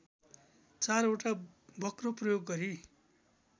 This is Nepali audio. चारवटा वक्र प्रयोग गरी